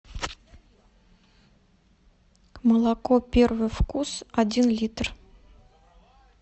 молоко первый вкус один литр